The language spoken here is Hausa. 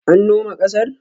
An noma ƙasar?